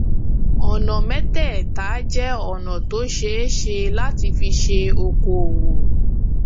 ọnà mẹtẹẹta jẹ ọnà tó ṣeé ṣe láti fi ṣe okoòwò